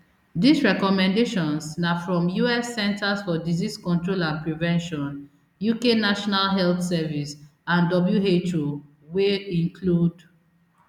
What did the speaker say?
dis recommendations na from us centers for disease control and prevention uk national health service and who wey include